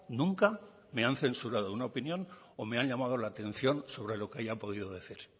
nunca me han censurado una opinión o me han llamado la atención sobre lo que haya podido decir